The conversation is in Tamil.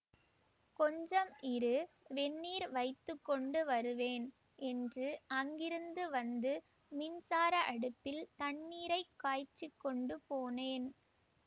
கொஞ்சம் இரு வெந்நீர் வைத்து கொண்டுவருவேன் என்று அங்கிருந்து வந்து மின்சார அடுப்பில் தண்ணீரை காய்ச்சிக் கொண்டுபோனேன்